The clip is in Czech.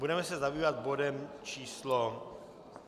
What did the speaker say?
Budeme se zabývat bodem číslo